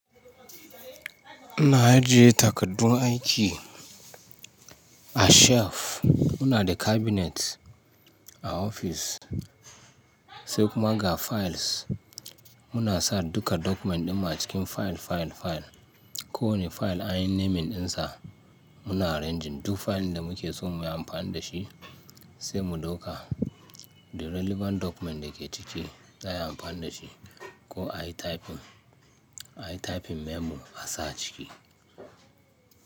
Muna ajiye takaddun aiki a shelf. Muna da cabinet a office, sai kuma ga files. Muna sa duka document ɗinmu a cikin file, file, file. Ko wani file anyi naming ɗinsa, muna arranging duk file da muke so mu yi amfani da shi sai mu ɗauka. The relevant document da ke ciki za a yi amfani da shi ko ai typing, ai typing memo a sa ciki.